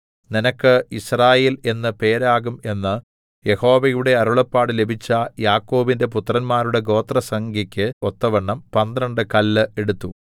നിനക്ക് യിസ്രായേൽ എന്ന് പേരാകും എന്ന് യഹോവയുടെ അരുളപ്പാട് ലഭിച്ച യാക്കോബിന്റെ പുത്രന്മാരുടെ ഗോത്രസംഖ്യക്ക് ഒത്തവണ്ണം പന്ത്രണ്ട് കല്ല് എടുത്തു